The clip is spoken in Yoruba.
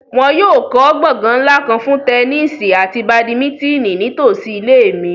Wọn yóò kọ gbongan nla kan fun tẹnisi ati badimitini nitosi ile mi